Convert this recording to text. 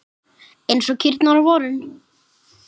Eins og kýrnar á vorin!